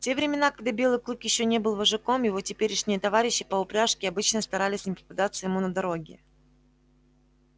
в те времена когда белый клык ещё не был вожаком его теперешние товарищи по упряжке обычно старались не попадаться ему на дороге